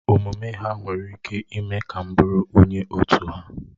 Omume ha nwere ike ime ka m bụụrụ onye otu ha.